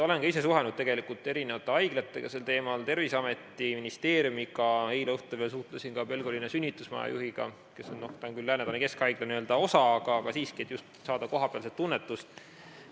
Olen ka ise suhelnud eri haiglatega sel teemal, Terviseameti, ministeeriumiga, eile õhtul suhtlesin ka Pelgulinna sünnitusmaja juhiga, mis on küll Lääne-Tallinna Keskhaigla osa, aga tegin seda siiski, et saada just kohapealset tunnetust.